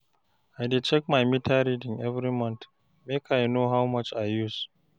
I dey check my meter reading every month, make I know how much I use.